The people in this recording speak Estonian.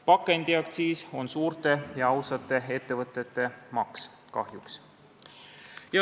Pakendiaktsiis on suurte ja ausate ettevõtete maks, kahjuks.